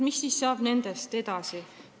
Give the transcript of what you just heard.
Mis saab nendest edasi?